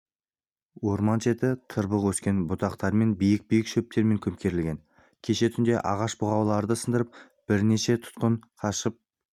орман шеті тырбық өскен бұтамен биік-биік шөптермен көмкерілген кеше түнде ағаш бұғауларын сындырып бірнеше тұтқын қашып